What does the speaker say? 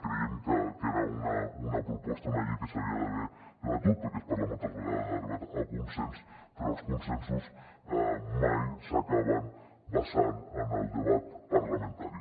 creiem que era una proposta una llei que s’hauria d’haver debatut perquè es parla moltes vegades d’arribar a consens però els consensos mai s’acaben basant en el debat parlamentari